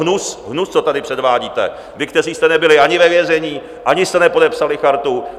Hnus, co tady předvádíte, vy, kteří jste nebyli ani ve vězení, ani jste nepodepsali Chartu.